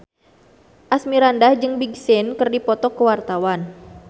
Asmirandah jeung Big Sean keur dipoto ku wartawan